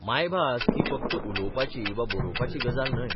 मायभास ही फक्त उलोवपाची वा बरोवपाची गजाल न्हय.